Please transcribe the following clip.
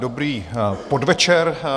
Dobrý podvečer.